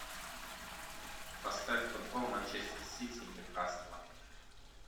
поставь футбол манчестер сити ньюкасла